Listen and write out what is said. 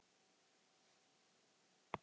Ekki mér vitanlega